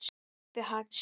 Pabbi hans?